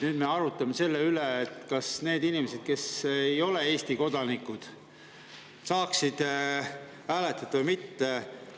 Nüüd me arutame selle üle, et kas need inimesed, kes ei ole Eesti kodanikud, saama hääletada või mitte.